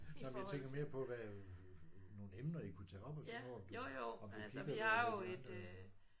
Jamen jeg tænker mere på hvad nogle emner I kunne tage op og sådan noget om du om du kigger hvad det er de andre